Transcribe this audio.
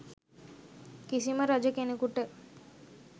කිසිම රජ කෙනෙකුට